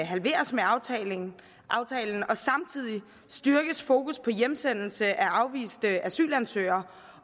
halveres med aftalen og samtidig styrkes fokus på hjemsendelse af afviste asylansøgere